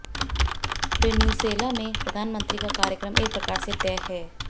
प्रीन्युर्सेला में प्रधानमंत्री का कार्यक्रम एक प्रकार से तय है